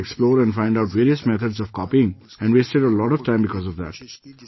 I tried to explore and find out various methods of copying and wasted a lot of time because of that